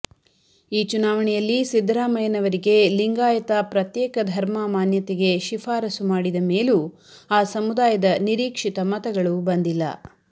ಈ ಚುನಾವಣೆಯಲ್ಲಿ ಸಿದ್ದರಾಮಯ್ಯನವರಿಗೆ ಲಿಂಗಾಯತ ಪ್ರತ್ಯೇಕ ಧರ್ಮ ಮಾನ್ಯತೆಗೆ ಶಿಫಾರಸು ಮಾಡಿದ ಮೇಲೂ ಆ ಸಮುದಾಯದ ನಿರೀಕ್ಷಿತ ಮತಗಳು ಬಂದಿಲ್ಲ